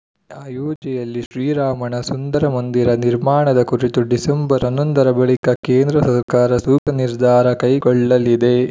ಅಯೋಧ್ಯೆಯಲ್ಲಿ ಶ್ರೀರಾಮನ ಸುಂದರ ಮಂದಿರ ನಿರ್ಮಾಣದ ಕುರಿತು ಡಿಸೆಂಬರ್ ಹನ್ನೊಂದರ ಬಳಿಕ ಕೇಂದ್ರ ಸರ್ಕಾರ ಸೂಕ್ತ ನಿರ್ಧಾರ ಕೈಗೊಳ್ಳಲಿದೆ